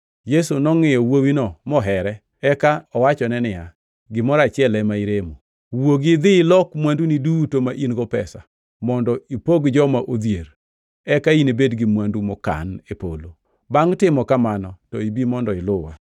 Yesu nongʼiyo wuowino mohere, eka owachone niya, “Gimoro achiel ema iremo. Wuogi idhi ilok mwanduni duto ma in-go pesa mondo ipog joma odhier, eka inibed gi mwandu mokan e polo. Bangʼ timo kamano to bi mondo iluwa.”